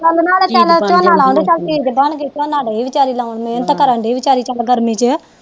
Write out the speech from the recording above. ਚਲ ਨਾਲੇ ਝੋਨਾ ਲਾਉਣ ਦੀ ਚਲ ਚੀਜ਼ ਬਣ ਗਈ ਝੋਨਾ ਦਈ ਵਿਚਾਰੀ ਲਾਉਣ ਮੇਹਨਤ ਕਰਨ ਦੀ ਵਿਚਾਰੀ ਚਲ ਗਰਮੀ ਚ